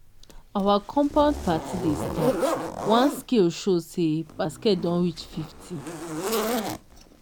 our compound party dey start once scale show say basket don reach fifty.